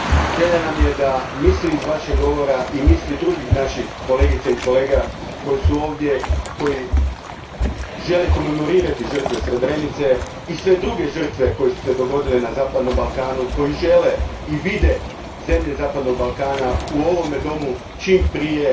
Želja nam je da misli iz vašeg govora i misli drugih naših kolegica i kolega koji su ovdje, koji žele komemorirati žrtve Srebrenice i sve druge žrtve koje su se dogodile na zapadnom Balkanu, koji žele i vide zemlje zapadnog Balkana u ovome domu čim prije.